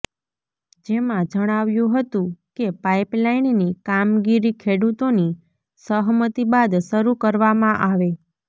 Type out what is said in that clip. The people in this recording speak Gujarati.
જેમાં જણાવ્યું હતું કે પાઈપલાઈનની કામગીરી ખેડૂતોની સહમતી બાદ શરૂ કરવામાં આવે